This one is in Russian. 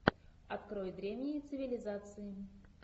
открой древние цивилизации